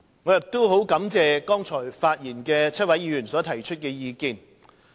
我亦感謝剛才發言的7位議員所提出的意見。